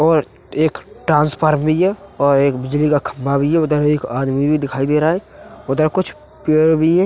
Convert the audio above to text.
और एक ट्रांसफार भी है और एक बिजली का खम्भा भी है। उधर एक आदमी भी दिखाई दे रहा है। उधर कुछ पेड़ भी है।